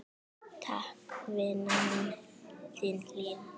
Takk, vina mín, þín Hlín.